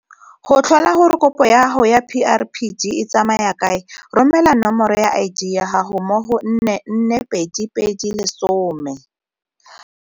Go tlhola gore kopo ya gago ya PrPD e tsamaya kae, romela nomoro ya ID ya gago mo go 44220.